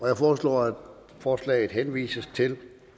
jeg foreslår at forslaget henvises til